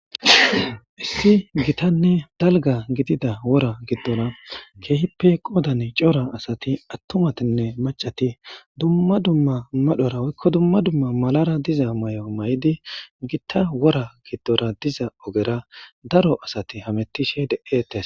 Issi gitanne dalga gidida wora giddora keehippe qoodane cora asati attomatinne macati dumma dumma madhora woykko dumma dumma malara diza may7o may7idi gitta wora giddora diza ogera daro asati hamettishe de7ettes